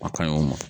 A kaɲi o ma